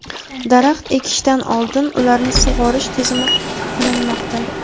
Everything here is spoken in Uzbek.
daraxt ekishdan oldin ularni sug‘orish tizimi qilinmoqda.